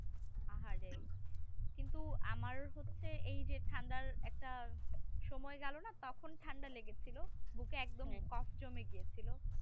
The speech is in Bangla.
আহারে কিন্তু আমার হচ্ছে এই যে ঠান্ডা একটা সময় গেল না তখন ঠান্ডা লেগে ছিল বুকে একদম কফ জমে গিয়েছিল